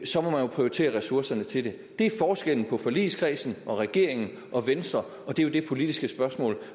så må man jo prioritere ressourcerne til det det er forskellen på forligskredsen og regeringen og så venstre og det er jo det politiske spørgsmål